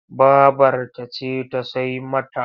Babarta ce ta sai mata.